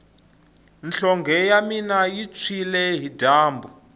nhlonge ya mina yi tshwile hi dyambu